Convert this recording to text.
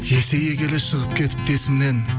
есейе келе шығып кетіпті есімнен